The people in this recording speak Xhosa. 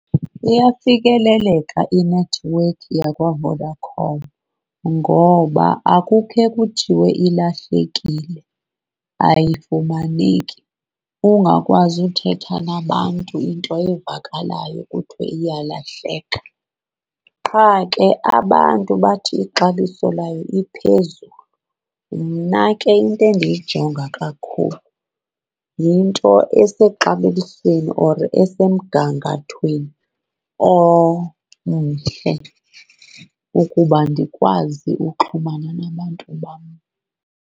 Iyafikeleleka inethiwekhi yakwaVodacom ngoba akukhe kutshiwo ilahlekile, ayifumaneki, ungakwazi uthetha nabantu into evakalayo iyalahleka. Qha ke abantu bathi ixabiso layo liphezulu. Mna ke into endiyijonga kakhulu yinto esexabisweni or esemgangathweni omhle ukuba ndikwazi uxhumana nabantu bam.